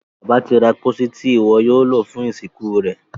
Bàbá tí ra pósí Ti iwọ yóò lo fún ìsìnkú rẹ.